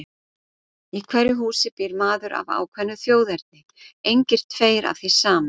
Í hverju húsi býr maður af ákveðnu þjóðerni, engir tveir af því sama.